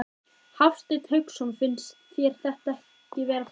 Hafsteinn Hauksson: Finnst þér þetta vera þakklátt starf?